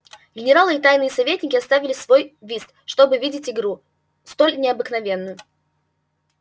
генералы и тайные советники оставили свой вист чтоб видеть игру столь необыкновенную